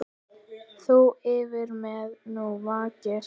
Þú yfir mér nú vakir.